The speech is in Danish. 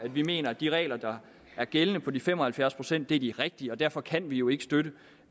vi mener at de regler der er gældende på de fem og halvfjerds pct er de rigtige og derfor kan vi jo ikke støtte et